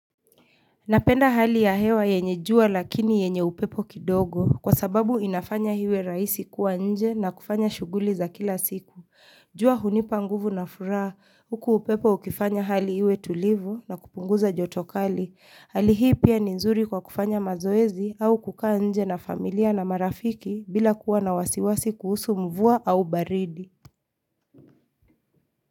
Napenda hali ya hewa yenye jua lakini yenye upepo kidogo kwa sababu inafanya hiwe raisi kuwa nje na kufanya shuguli za kila siku. Jua hunipa nguvu na furaa huku upepo ukifanya hali hiwe tulivu na kupunguza jotokali. Hali hii pia ni nzuri kwa kufanya mazoezi au kukaa nje na familia na marafiki bila kuwa na wasiwasi kuhusu mvua au baridi.